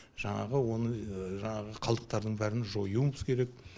жаңағы оны жаңағы қалдықтардың бәрін жоюымыз керек